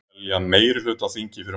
Telja meirihluta á þingi fyrir málinu